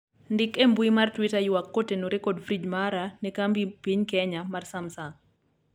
ndik e mbui mar twita ywak kotenore kod frij mara ne kambi piny kenya mar samsang'